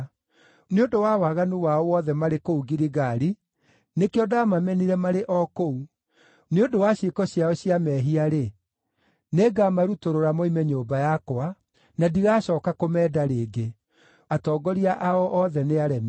“Nĩ ũndũ wa waganu wao wothe marĩ kũu Giligali, nĩkĩo ndamamenire marĩ o kũu. Nĩ ũndũ wa ciĩko ciao cia mehia-rĩ, nĩngamarutũrũra moime nyũmba yakwa, na ndigacooka kũmenda rĩngĩ; atongoria ao othe nĩ aremi.